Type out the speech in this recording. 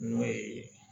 N'o ye